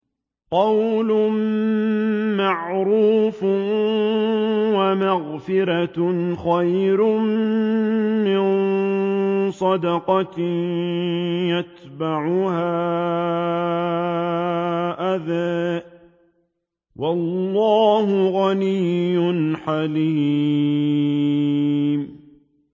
۞ قَوْلٌ مَّعْرُوفٌ وَمَغْفِرَةٌ خَيْرٌ مِّن صَدَقَةٍ يَتْبَعُهَا أَذًى ۗ وَاللَّهُ غَنِيٌّ حَلِيمٌ